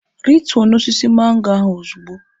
Rituo n'osisi mango ahụ ozugbo!